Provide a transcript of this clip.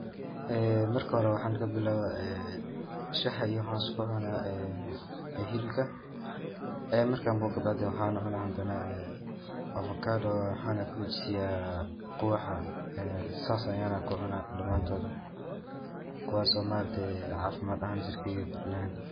Ee marka hore waxan kabilawa ee shaha iyo waxan isku cuna iyo hilibka, ee markan boge kabacdi waxan cuna hadana afakadoga waxana kuxijisiya qubaha sas ayana kucunaa dhamaantoda kuwaas ma aragte caafimad ahan jirkeyga kurinayan